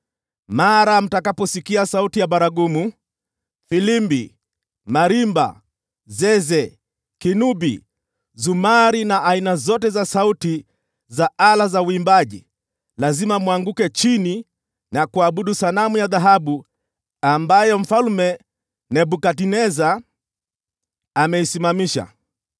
Mara mtakaposikia sauti ya baragumu, filimbi, marimba, zeze, kinubi, zumari na aina zote za sauti za ala za uimbaji, lazima mwanguke chini na kuabudu sanamu ya dhahabu ambayo Mfalme Nebukadneza ameisimamisha.